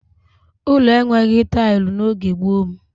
Ụlọ enweghị tailụ n'oge gboo m